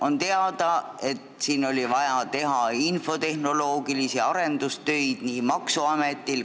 On teada, et siin on vaja nii maksuametil kui kommertspankadel infotehnoloogilisi arendustöid teha.